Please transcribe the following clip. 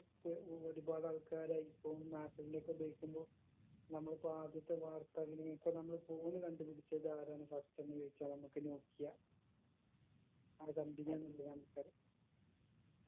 പ്പൊ ഒരുപാട് ആൾക്കാര് iphone ഉം ആപ്പിളിന്റെ ഒക്കെ ഉപയോഗിക്കുമ്പൊ നമ്മളിപ്പൊ ആദ്യത്തെ വാർത്ത ഇന്നിപ്പൊ നമ്മള് phone കണ്ടുപിടിച്ചത് ആരാണ് first എന്ന് ചോദിച്ചാ നമ്മക്ക് നോക്കിയ ആ company ആണല്ലൊ answer